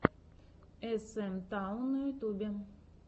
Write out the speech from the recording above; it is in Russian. эс эм таун на ютубе